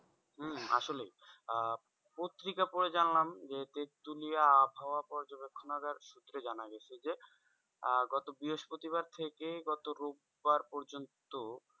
হম আসলেই আহ পত্রিকা পড়ে জানলাম যে হচ্ছে তেঁতুলিয়া আবহাওয়া পর্যবেক্ষণাগার সূত্রে জানা গেছে যে আহ গত বৃহস্পতিবার থেকে গত রোববার পর্যন্ত